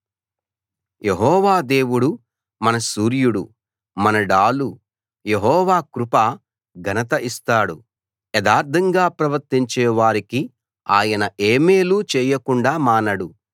యెహోవా దేవుడు మన సూర్యుడు మన డాలు యెహోవా కృప ఘనత ఇస్తాడు యథార్ధంగా ప్రవర్తించే వారికి ఆయన ఏ మేలూ చేయకుండా మానడు